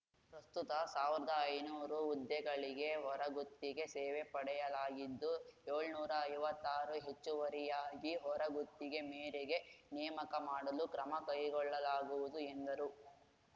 ಪ್ರಸ್ತುತ ಸಾವ್ರ್ದಾ ಐನೂರು ಹುದ್ದೆಗಳಿಗೆ ಹೊರಗುತ್ತಿಗೆ ಸೇವೆ ಪಡೆಯಲಾಗಿದ್ದು ಏಳ್ನೂರ ಐವತ್ತಾರು ಹೆಚ್ಚುವರಿಯಾಗಿ ಹೊರಗುತ್ತಿಗೆ ಮೇರೆಗೆ ನೇಮಕ ಮಾಡಲು ಕ್ರಮ ಕೈಗೊಳ್ಳಲಾಗುವುದು ಎಂದರು